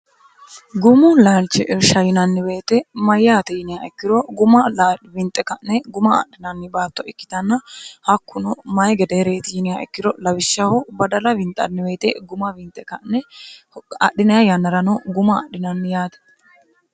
gumo laalchi irshayinanniweete mayyaati yiniya ikkiro guma winxe ka'ne guma adhinanni baatto ikkitanna hakkuno mayi gedeereeti yiniya ikkiro lawishshaho badala winxanniweete guma winxe k'neadhiny yannarano guma adhinanni yaati